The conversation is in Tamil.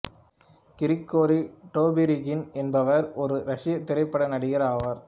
கிரிகோரி டோபிரிகின் என்பவர் ஒரு ரசியத் திரைப்பட நடிகர் ஆவார்